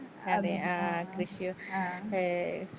അതെ ആ കൃഷി ഏ.